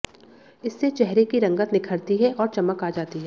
इससे चेहरे की रंगत निखरती है और चमक आ जाती है